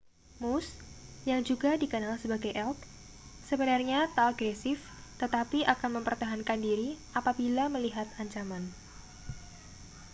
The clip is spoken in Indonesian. moose yang juga dikenal sebagai elk sebenarnya tak agresif tetapi akan mempertahankan diri apabila melihat ancaman